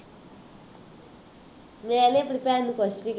ਮੈਂ ਨਹੀਂ ਆਪਣੀ ਭੈਣ ਨੂੰ ਕੁੱਛ ਵੀ